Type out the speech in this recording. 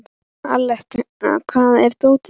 Aletta, hvar er dótið mitt?